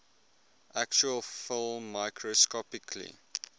actual film microscopically